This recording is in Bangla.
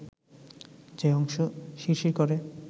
যে অংশ শিরশির করে